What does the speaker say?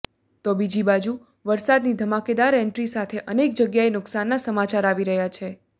તો બીજી બાજુ વરસાદની ધમાકેદાર એન્ટ્રી સાથે અનેક જગ્યાએ નુકસાનના સમાચાર આવી રહ્યા છે